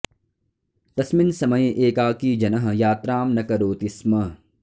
तस्मिन् समये एकाकी जनः यात्रां न करोति स्म